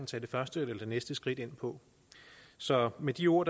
tage det første eller det næste skridt ind på så med de ord